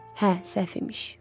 Hə, səhv imiş.